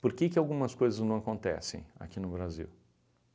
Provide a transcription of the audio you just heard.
Por que que algumas coisas não acontecem aqui no Brasil?